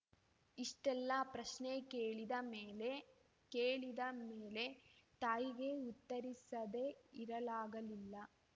ಇಷ್ಟೆಲ್ಲ ಪ್ರಶ್ನೆ ಕೇಳಿದ ಮೇಲೆ ಕೇಳಿದ ಮೇಲೆ ತಾಯಿಗೆ ಉತ್ತರಿಸದೆ ಇರಲಾಗಲಿಲ್ಲ